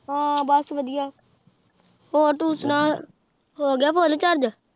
ਹਾਂ ਬਾਸ ਵਾਦਿਯ ਤੂ ਸੁਨਾ ਹੋਗ੍ਯ ਫੋਨੇ ਚਾਰ੍ਗੇ